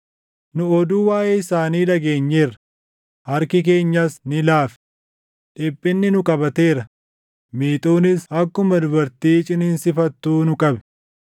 Nu oduu waaʼee isaanii dhageenyeerra; harki keenyas ni laafe. Dhiphinni nu qabateera; miixuunis akkuma dubartii ciniinsifattuu nu qabe.